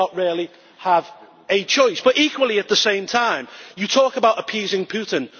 we did not really have a choice. Equally, at the same time, you talk about appeasing Putin.